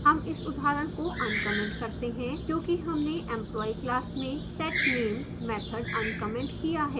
हम इस उदाहरण को uncommented करते हैं क्योंकि हमने empolyee class में setname मैथड uncommented किया है